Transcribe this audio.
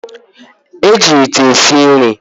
Eji ite esi nri